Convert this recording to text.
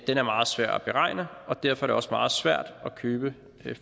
er meget svær at beregne og derfor er det også meget svært at købe